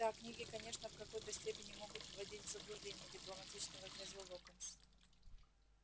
да книги конечно в какой-то степени могут вводить в заблуждение дипломатично возразил локонс